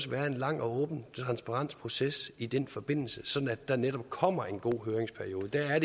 være en lang og åben transparent proces i den forbindelse sådan at der netop kommer en god høringsperiode det er